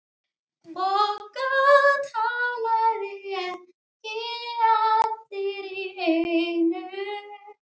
BOGGA: Talið ekki allir í einu.